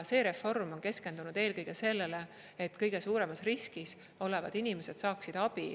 See reform on keskendunud eelkõige sellele, et kõige suuremas riskis olevad inimesed saaksid abi.